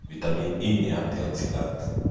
Vitamini E nĩ antioxidant.